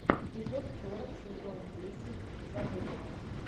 эпизод сорок сезон десять забытого